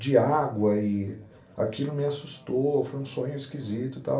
de água e aquilo me assustou, foi um sonho esquisito e tal.